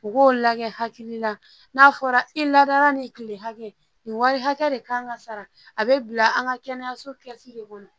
U k'o lagɛ hakilila n'a fɔra i ladara nin kile hakɛ nin wari hakɛ de kan ka sara a bɛ bila an ka kɛnɛyaso lasi de kɔnɔ